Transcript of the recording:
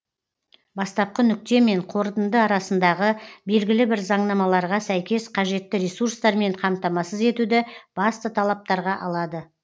бастапқы нүкте мен қорытынды арасындағы белгілі бір заңнамаларға сәйкес қажетті ресурстармен қамтамасыз етуді басты талаптарға алады